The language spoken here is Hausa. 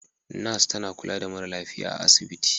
Nurse tana kula da mara lafiya a asibiti.